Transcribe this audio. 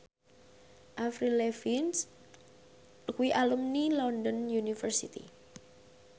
Avril Lavigne kuwi alumni London University